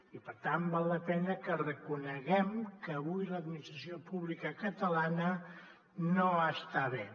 i per tant val la pena que reconeguem que avui l’administració pública catalana no està bé